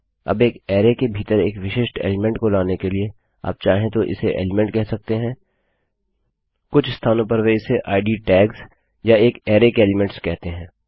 अबएक array के भीतर एक विशिष्ट एलीमेंट को लाने के लिए आप चाहें तो इसे एलीमेंट कह सकते हैं कुछ स्थानों पर वे इसे इद टैग्स या एक अरैके एलीमेंट्स कहते हैं